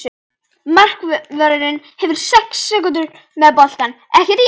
Markvörðurinn hefur sex sekúndur með boltann, ekki rétt?